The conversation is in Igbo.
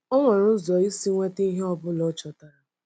O nwere ụzọ isi nweta ihe ọ bụla o chọtara.